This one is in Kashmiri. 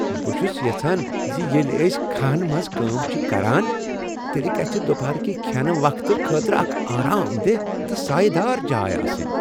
بہٕ چُھس یژھان ز ییٚلہ أسۍ کھہن منٛز کٲم چھ کران تیٚلہ گژھہِ دُپہرٕ كہِ کھٮ۪ن وقفہٕ خٲطرٕ اکھ آرام دہ تہٕ سایہٕ دار جاے آسٕنۍ۔